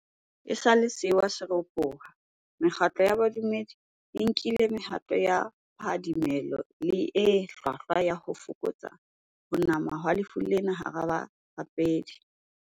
Esale sewa sena se ropoha, mekgatlo ya bodumedi e nkile mehato ya phadimeho le e hlwahlwa ya ho fokotsa ho nama ha lefu lena hara barapedi.